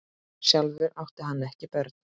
Sjálfur átti hann ekki börn.